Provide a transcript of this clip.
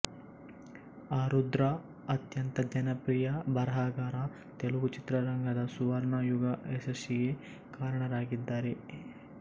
ಆರುದ್ರಾ ಅತ್ಯಂತ ಜನಪ್ರಿಯ ಬರಹಗಾರ ತೆಲುಗು ಚಿತ್ರರಂಗದ ಸುವರ್ಣ ಯುಗ ಯಶಸ್ಸಿಗೆ ಕಾರಣರಾಗಿದ್ದಾರೆ